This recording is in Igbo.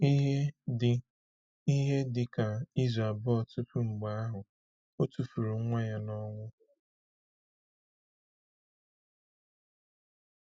Ihe dị Ihe dị ka izu abụọ tupu mgbe ahụ, ọ tụfuru nwa ya n’ọnwụ.